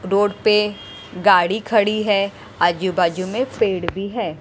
Road पे गाड़ी खड़ी है आजू-बाजू में पेड़ भी हैं।